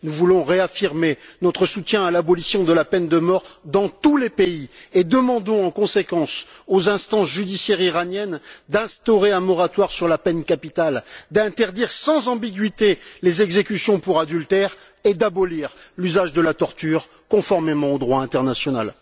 Nous voulons réaffirmer notre soutien à l'abolition de la peine de mort dans tous les pays et demandons en conséquence aux instances judiciaires iraniennes d'instaurer un moratoire sur la peine capitale, d'interdire sans ambiguïté les exécutions pour adultère et d'abolir l'usage de la torture, conformément au droit international.